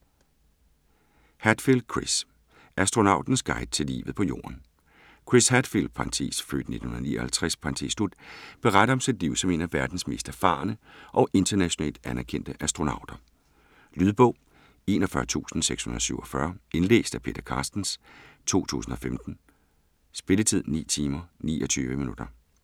Hadfield, Chris: Astronautens guide til livet på jorden Chris Hadfield (f. 1959) beretter om sit liv som en af verdens mest erfarne og internationalt anerkendte astronauter. Lydbog 41647 Indlæst af Peter Carstens, 2015. Spilletid: 9 timer, 29 minutter.